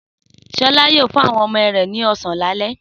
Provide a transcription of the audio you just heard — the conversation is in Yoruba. Sọlá yóò fún àwọn ọmọ rẹ̀ ní ọ̀sán lálẹ́.